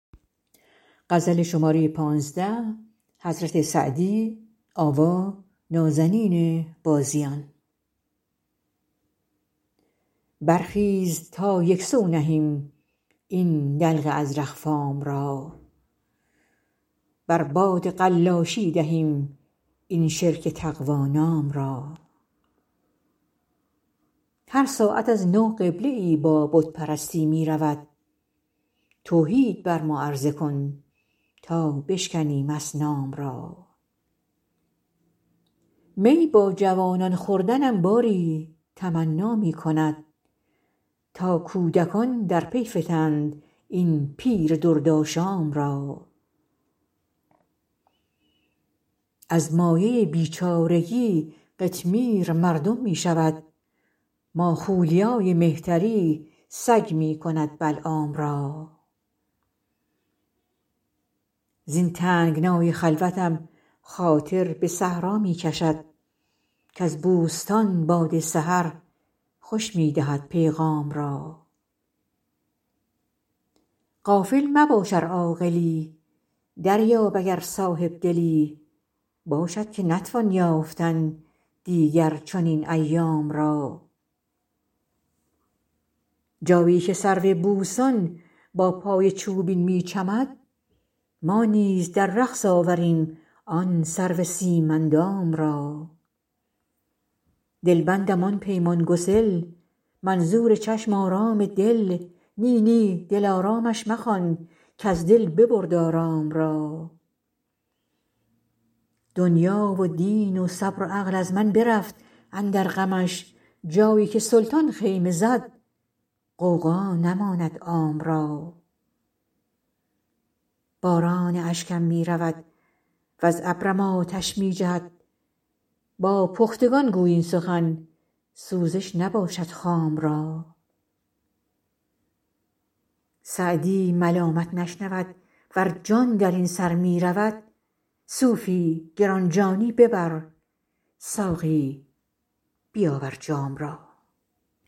برخیز تا یک سو نهیم این دلق ازرق فام را بر باد قلاشی دهیم این شرک تقوا نام را هر ساعت از نو قبله ای با بت پرستی می رود توحید بر ما عرضه کن تا بشکنیم اصنام را می با جوانان خوردنم باری تمنا می کند تا کودکان در پی فتند این پیر دردآشام را از مایه بیچارگی قطمیر مردم می شود ماخولیای مهتری سگ می کند بلعام را زین تنگنای خلوتم خاطر به صحرا می کشد کز بوستان باد سحر خوش می دهد پیغام را غافل مباش ار عاقلی دریاب اگر صاحب دلی باشد که نتوان یافتن دیگر چنین ایام را جایی که سرو بوستان با پای چوبین می چمد ما نیز در رقص آوریم آن سرو سیم اندام را دلبندم آن پیمان گسل منظور چشم آرام دل نی نی دلآرامش مخوان کز دل ببرد آرام را دنیا و دین و صبر و عقل از من برفت اندر غمش جایی که سلطان خیمه زد غوغا نماند عام را باران اشکم می رود وز ابرم آتش می جهد با پختگان گوی این سخن سوزش نباشد خام را سعدی ملامت نشنود ور جان در این سر می رود صوفی گران جانی ببر ساقی بیاور جام را